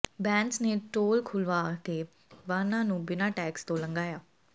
ਬੈਂਸ ਨੇ ਟੋਲ ਖੱੁਲ੍ਹਵਾ ਕੇ ਵਾਹਨਾਂ ਨੂੰ ਬਿਨਾਂ ਟੈਕਸ ਤੋਂ ਲੰਘਾਇਆ